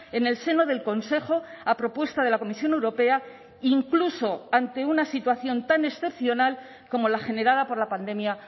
en el seno del consejo a propuesta de la comisión europea incluso ante una situación tan excepcional como la generada por la pandemia